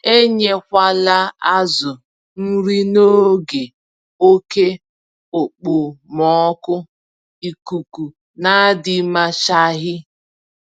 Enyekwala azụ nri n'oge oke okpomọkụ ikuku nadịmachaghị